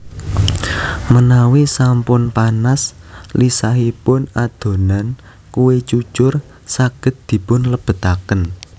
Menawi sampun panas lisahipun adonan kue cucur saged dipun lebetaken